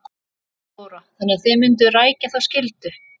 Þóra: Þannig að þið mynduð rækja þá skyldu?